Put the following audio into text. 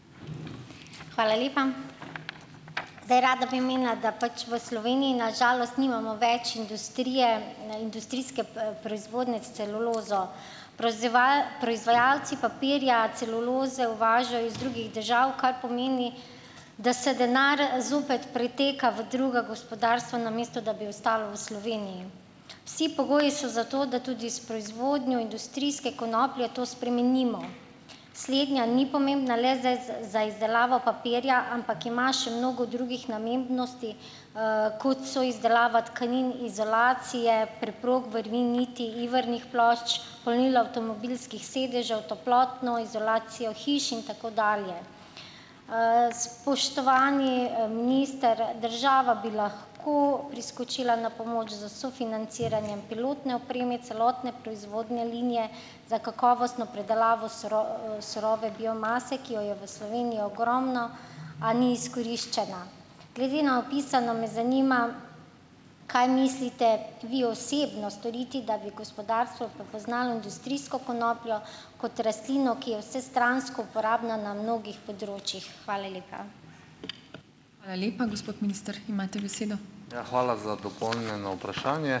Hvala lepa. Zdaj, rada bi omenila, da pač v Sloveniji na žalost nimamo več industrije, industrijske, proizvodnje s celulozo. proizvajalci papirja celuloze uvažajo iz drugih držav, kar pomeni, da se denar zopet priteka v druga gospodarstva, namesto da bi ostalo v Sloveniji. Vsi pogoji so zato, da tudi s proizvodnjo industrijske konoplje to spremenimo. Slednja ni pomembna le za za izdelavo papirja, ampak ima še mnogo drugih namembnosti, kot so izdelava tkanin, izolacije preprog, vrvi, niti, ivernih plošč, polnilo avtomobilskih sedežev, toplotno izolacijo hiš in tako dalje. Spoštovani, minister, država bi lahko priskočila na pomoč s sofinanciranjem pilotne opreme celotne proizvodnje linije za kakovostno predelavo surove biomase, ki jo je v Sloveniji ogromno, a ni izkoriščena. Glede na opisano me zanima, kaj mislite vi osebno storiti, da bi gospodarstvo prepoznalo industrijsko konopljo kot rastlino, ki je vsestransko uporabna na mnogih področjih. Hvala lepa.